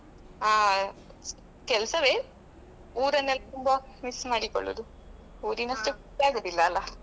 ಆ ಕೆಲಸವೇ ಊರನ್ನು ತುಂಬಾ miss ಮಾಡಿಕೊಳ್ಳುವುದು ಊರಿನಷ್ಟು ಇಷ್ಟ ಆಗುದಿಲ್ಲ ಅಲ್ಲಾ.